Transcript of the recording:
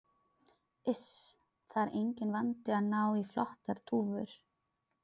Iss. það er enginn vandi að ná í flottar dúfur.